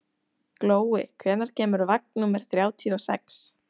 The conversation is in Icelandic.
Glói, hvenær kemur vagn númer þrjátíu og sex?